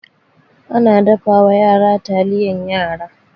Ana dafawa yara taliyan yara.